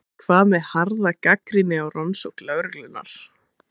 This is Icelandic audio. En hvað með harða gagnrýni á rannsókn lögreglunnar?